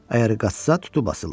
Əgər qaçsa tutub asırlar.